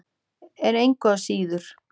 En engu að síður.